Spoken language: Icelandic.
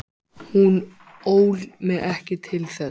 Hún ól mig ekki til þess.